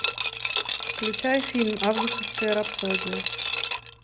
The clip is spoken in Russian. включай фильм августовская рапсодия